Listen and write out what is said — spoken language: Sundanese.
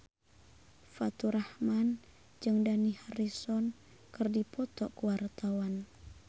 Faturrahman jeung Dani Harrison keur dipoto ku wartawan